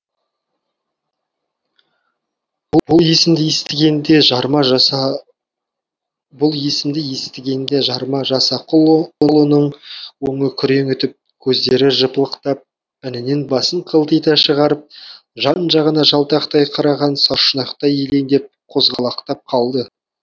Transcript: бұл есімді естігенде жарма жасақұлының өңі күреңітіп көздері жыпылықтап інінен басын қылтита шығарып жан жағына жалтақтай қараған сарышұнақтай елеңдеп қозғалақтап қалды